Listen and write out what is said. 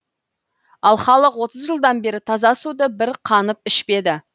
ал халық отыз жылдан бері таза суды бір қанып ішпеді